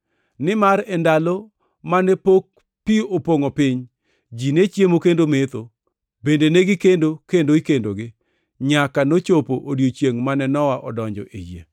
Nimar e ndalo mane pok pi opongʼo piny, ji ne chiemo kendo metho, bende negi kendo kendo ikendogi, nyaka nochopo odiechiengʼ mane Nowa odonjo e yie,